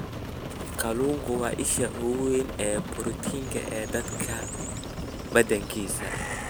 Kalluunku waa isha ugu weyn ee borotiinka ee dadka badankiisa.